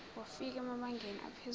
wafika emabangeni aphezulu